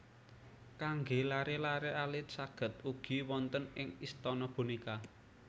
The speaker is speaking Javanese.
Kanggé laré laré alit saged ugi wonten ing Istana Bonéka